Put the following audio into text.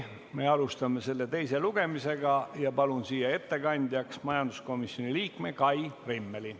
Me alustame selle teist lugemist ja palun siia ettekandjaks majanduskomisjoni liikme Kai Rimmeli.